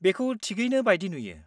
बेखौ थिगैनि बायदि नुयो।